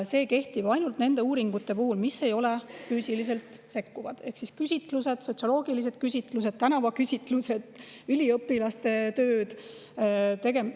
See kehtib ainult nende uuringute puhul, mis ei ole füüsiliselt sekkuvad: küsitlused, näiteks sotsioloogilised küsitlused, tänavaküsitlused, üliõpilaste tööd.